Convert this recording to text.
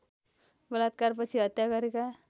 बलात्कारपछि हत्या गरेका